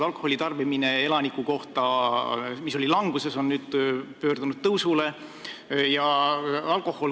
Alkoholi tarbimine elaniku kohta, mis oli aastaid languses, on nüüd pöördunud tõusule.